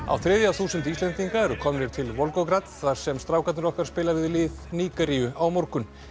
á þriðja þúsund Íslendinga eru komnir til þar sem strákarnir okkar spila við lið Nígeríu á morgun